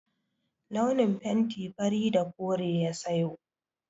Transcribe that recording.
Launin fenti fari da kore ya sayo.